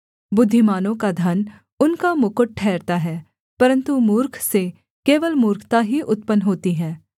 बुद्धिमानों का धन उनका मुकुट ठहरता है परन्तु मूर्ख से केवल मूर्खता ही उत्पन्न होती है